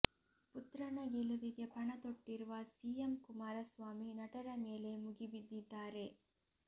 ಪುತ್ರನ ಗೆಲುವಿಗೆ ಪಣ ತೊಟ್ಟಿರುವ ಸಿಎಂ ಕುಮಾರಸ್ವಾಮಿ ನಟರ ಮೇಲೆ ಮುಗಿಬಿದ್ದಿದ್ದಾರೆ